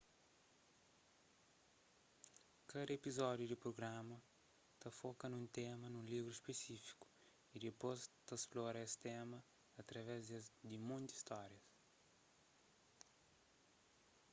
kada epizódiu di prugrama ta foka nun tema nun livru spesífiku y dipôs ta splora es tema através di monti stórias